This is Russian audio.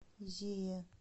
зея